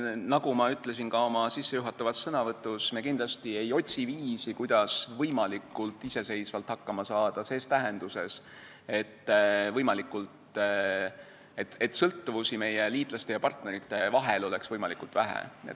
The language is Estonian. Nagu ma ütlesin ka oma sissejuhatavas sõnavõtus, me kindlasti ei otsi viisi, kuidas võimalikult iseseisvalt hakkama saada ses tähenduses, et sõltuvusi meie liitlaste ja partnerite vahel oleks võimalikult vähe.